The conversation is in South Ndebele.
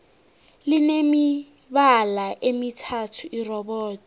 line mibala emithathu irobodo